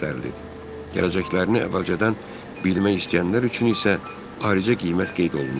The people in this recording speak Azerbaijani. Gələcəklərini əvvəlcədən bilmək istəyənlər üçün isə ayrıca qiymət qeyd olunurdu.